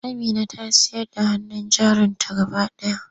Amina ta sayar da hannun jarinta gaba ɗaya.